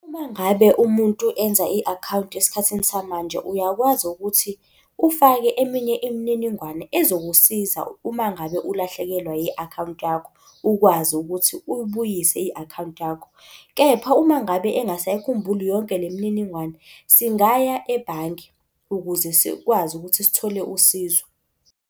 Uma ngabe umuntu enza i-akhawunti esikhathini samanje, uyakwazi ukuthi ufake eminye imininingwane ezokusiza uma ngabe ulahlekelwa i-akhawunti yakho, ukwazi ukuthi uyibuyise i-akhawunti yakho. Kepha uma ngabe engasayikhumbuli yonke le mininingwane, singaya ebhange ukuze sikwazi ukuthi sithole usizo.